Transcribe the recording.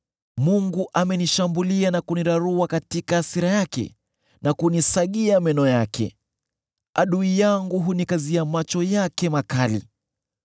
Mungu amenishambulia na kunirarua katika hasira yake, na kunisagia meno yake; adui yangu hunikazia macho yake makali.